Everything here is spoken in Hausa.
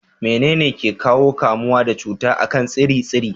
Menene ke ƙawo kamuwa da cuta a kan tsire-tsire?